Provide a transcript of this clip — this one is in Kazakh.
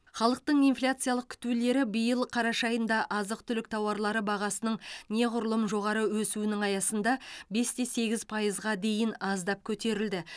халықтың инфляциялық күтулері биыл қараша айында азық түлік тауарлары бағасының неғұрлым жоғары өсуінің аясында бесте сегіз пайызға дейін аздап көтерілді